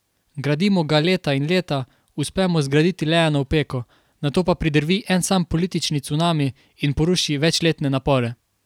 Gradimo ga leta in leta, uspemo zgraditi le eno opeko, nato pa pridrvi en sam politični cunami in poruši večletne napore.